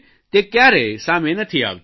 તે કયારેય સામી નથી આવતી